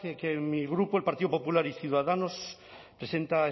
que mi grupo el partido popular y ciudadanos presenta a